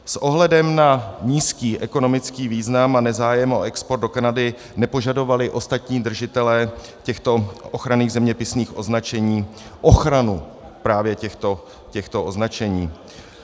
S ohledem na nízký ekonomický význam a nezájem o export do Kanady nepožadovali ostatní držitelé těchto ochranných zeměpisných označení ochranu právě těchto označení.